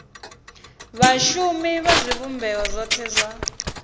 vhashumi vha zwivhumbeo zwothe zwa